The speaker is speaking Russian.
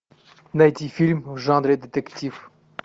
найти фильм в жанре детектив